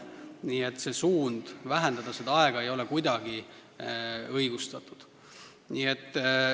Nii et suund seda aega vähendada ei ole kuidagi õigustatud.